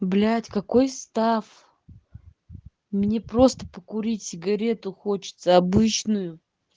блять какой став мне просто покурить сигарету хочется обычную